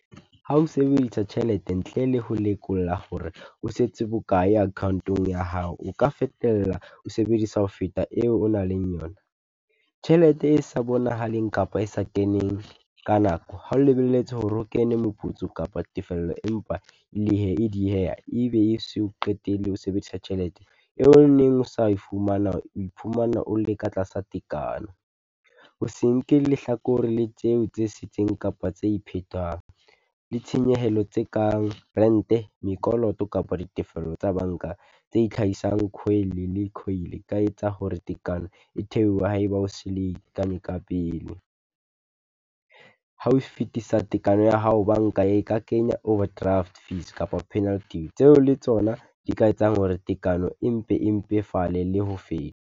Ha o sebedisa tjhelete ntle le ho lekola hore o setse bokae account-ong ya hao, o ka fetella o sebedisa ho feta eo o nang leng yona. Tjhelete e sa bonahaleng kapa e sa keneng ka nako, ha o lebelletse hore ho kene moputso kapa tefello empa le he e dieha, ebe e se o qetelle ho sebedisa tjhelete. neng o sa e fumana, o iphumana o le ka tlasa tekano, o se nke lehlakore le tseo tse setseng kapa tse iphetang, le tshenyehelo tse kang rent-e, mekoloto kapa ditefello tsa banka tse itlhahisang e ka a etsa hore tekano e theohe ha e ba o se le ka pele. Ha o fetisa tekano ya hao banka e ka kenya overdraft fees kapa penalty, tseo le tsona di ka etsang hore tekano e mpe e mpefale le ho feta.